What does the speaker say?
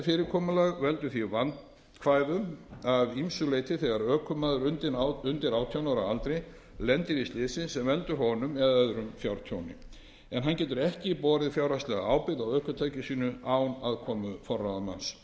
fyrirkomulag veldur því vandkvæðum að ýmsu leyti þegar ökumaður undir átján ára aldri lendir í slysi sem veldur honum eða öðrum fjártjóni hann getur ekki borið fjárhagslega ábyrgð á ökutæki sínu án aðkomu forráðamanns